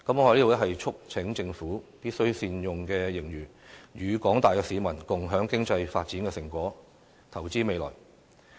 我在此促請政府，必須善用盈餘，與廣大市民共享經濟發展的成果，投資未來。